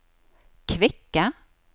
kvikke